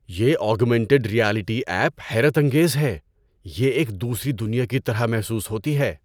یہ augmented reality app حیرت انگیز ہے۔ یہ ایک دوسری دنیا کی طرح محسوس ہوتی ہے۔